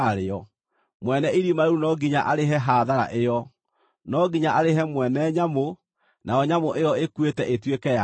mwene irima rĩu no nginya arĩhe hathara ĩyo; no nginya arĩhe mwene nyamũ, nayo nyamũ ĩyo ĩkuĩte ĩtuĩke yake.